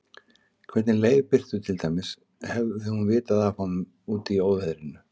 Hvernig leið Birtu til dæmis, hafði hún vitað af honum úti í óveðrinu?